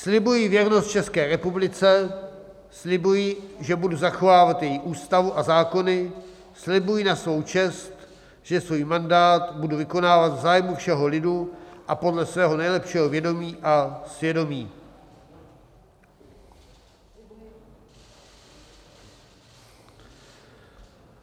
Slibuji věrnost České republice, slibuji, že budu zachovávat její ústavu a zákony, slibuji na svou čest, že svůj mandát budu vykonávat v zájmu všeho lidu a podle svého nejlepšího vědomí a svědomí.